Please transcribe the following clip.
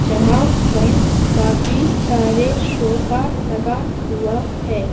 जहां पर काफी सारे सोफा लगा हुआ है।